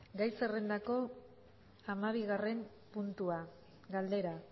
gai zerrendako hamabigarren puntua galdera